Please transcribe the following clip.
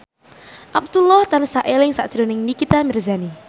Abdullah tansah eling sakjroning Nikita Mirzani